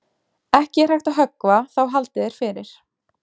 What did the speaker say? Ekki er hægt að höggva þá haldið er fyrir.